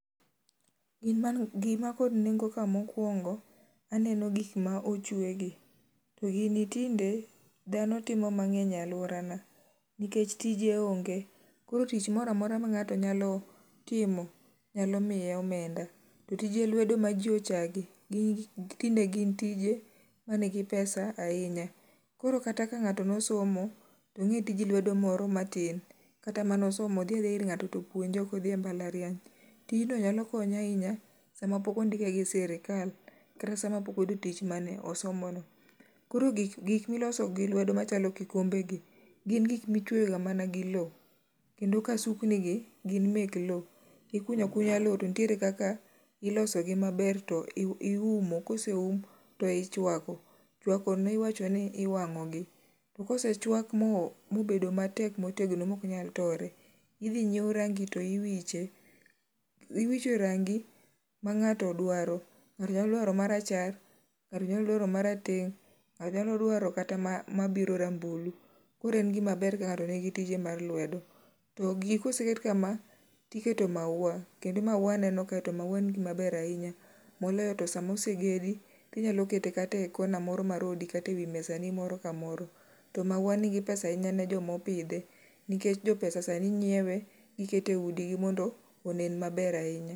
Gima nikod nengo kae mokuongo aneno gik ma ochwegi. To gini tinde dhano timo mang'eny e aluorana nikech tije onge koro tich moro amora mang'ato nyalo timo nyalo miye omenda to tije lwedo maji ochayogi tinde gin tije man gi pesa ahinya. Koro kata ka ng'ato nosomo to ong'e tij lwedo moro matin kata mane osomo. Odhi adhiya ir ng'ato to opuonje ok dhi e mbalariany. Tijno nyalo konye ahinya sama pok ondike gi sirkal kata sama pok oyudo tich mane osomo no. Koro gik ma iloso gi lwedo machalo kikombeni, gin gik michweyoga mana gi lowo kendo kasuknigi gin mag lowo. Ikunyo akunya lowo, nitie kaka ilogo maber toiumo to ka oseum toichuako. Chuakono iwacho ni iwang'ogi, to kaosechuak mobedo motegno maok nyal tore, idhi nyiew rangi to iwiche. Iwicho rangi ma ng'ato dwaro.Ng'ato nyalo dwaro marachar, ng'ato nyalo dwaro marateng# ng'ato nyalo dwaro kata mabiro rambulu koro en gima ber ka ng'ato nigi tije mar lwedo. To gigi ka oseket kama, to iketo mauwa kendo mauwa aneno to mauwa en gima ber ahinya to moloyo to sama osegedi inyalo kete kata e kona moro mar odi kata ewi mesani moro kamoro. To mauwa nigi pesa ahinya ni joma opidhe nikech jopesa sani nyiewe oket eudi mondo onen maber ahinya